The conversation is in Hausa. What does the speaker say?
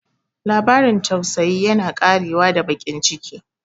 Labarin tausayi yana ƙarewa da baƙin ciki.